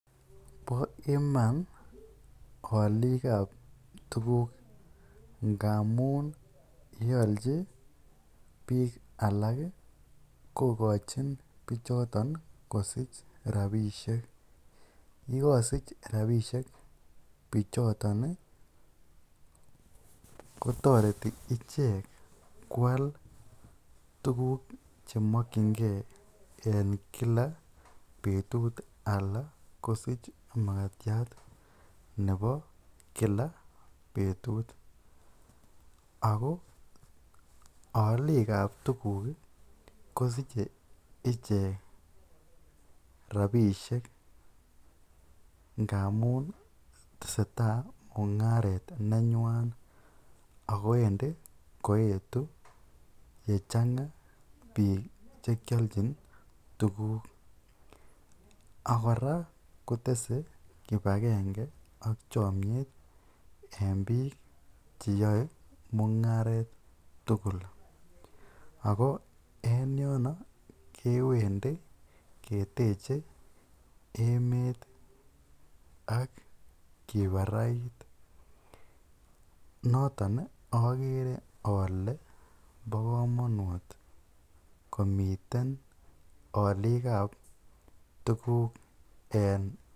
Bo iman olikab tukuk ngamun yeolchi biik alak kokochin bichoton kosich rabishek, yekosich rabishek bichoton kotoreti ichek kwaal tukuk chemokyinge en kila betut alaa kosich makatiat nebo kila betut ak ko oliikab tukuk kosiche ichek rabishek ngamun teseta mungaret nenywan ak ko wendi koyetu yechanga biik chekiolchin tukuk ak kora kotese kibakenge ak chomnyet en biik cheyoe mungaret tukul, ak ko en yono kewendi keteche emet ak kibarait, noton okere olee bokomonut ko miten oliikab tukuk en.